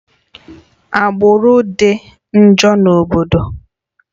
Agbụrụ dị njọ na obodo